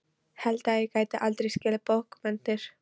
Held að ég geti aldrei skilið bókmenntir.